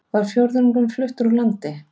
Var fjórðungurinn fluttur úr landi